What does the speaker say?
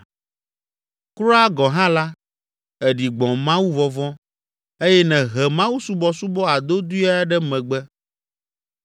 Kura gɔ̃ hã la, èɖi gbɔ̃ mawuvɔvɔ̃ eye nèhe mawusubɔsubɔ adodoea ɖe megbe.